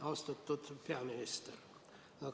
Austatud peaminister!